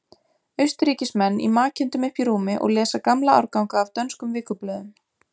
Austurríkismenn í makindum uppi í rúmi og lesa gamla árganga af dönskum vikublöðum.